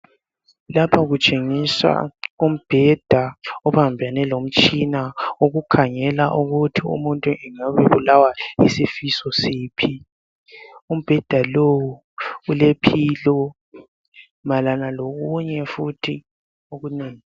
Lapha kutshengiswa umbheda obambene lomtshina wokukhangela ukuthi umuntu engabe ebulawa yisifo siphi. Umbheda lowu ule pillow kanye lokunye futhi okunengi.